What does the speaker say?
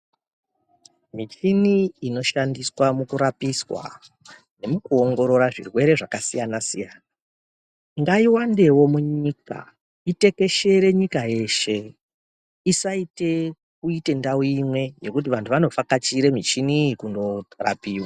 Michini ino shandiswa muku rapiswa nemuku ongorora zvirwere zvaka siyana siyana ngai wandewo munyika itekeshere nyika yeshe isaite kuite ndau imwe yekuti vantu vano vhakachire muchini iyi kundo rapiwa.